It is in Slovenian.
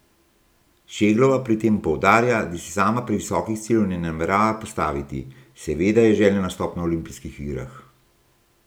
Šeglova pri tem poudarja, da si sama previsokih ciljev ne namerava postaviti: "Seveda je želja nastop na olimpijskih igrah.